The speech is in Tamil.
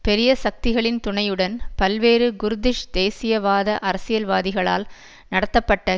பெரிய சக்திகளின் துணையுடன் பல்வேறு குர்திஷ் தேசியவாத அரசியல்வாதிகளால் நடத்தப்பட்ட